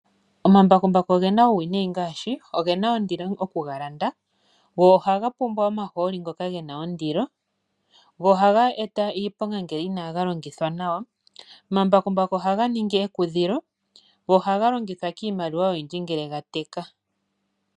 Omambakumbaku ogena uuwinayi ngaashi ohaga tulwa omahooli go ogena ondilo kugalanda, go ohaga eta iiponga ngele inaga pangelwa nawa, ohaga ningi ekudhilo go ohaga longithwa kiimaliwa oyindji ngele gateka.